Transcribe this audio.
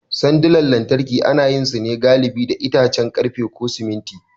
Sandunan lantarki galibi ana yin su ne da itace, ƙarfe, ko siminti.